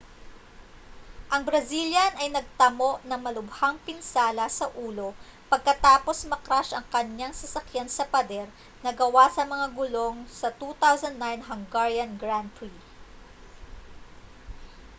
ang brazilian ay nagtamo ng malubhang pinsala sa ulo pagkatapos ma-crash ang kaniyang sasakyan sa pader na gawa sa mga gulong sa 2009 hungarian grand prix